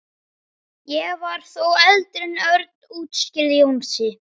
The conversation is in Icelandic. Ég var þó eldri en Örn útskýrði Jónsi.